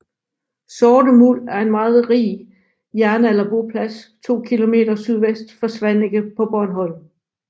Sorte Muld er en meget rig jernalderboplads 2 km SV for Svaneke på Bornholm